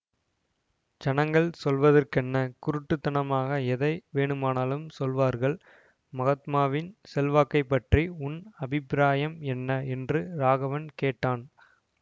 ஜனங்கள் சொல்வதற்கென்ன குருட்டுத்தனமாக எதை வேணுமானாலும் சொல்வார்கள் மகாத்மாவின் செல்வாக்கைப் பற்றி உன் அபிப்பிராயம் என்ன என்று ராகவன் கேட்டான்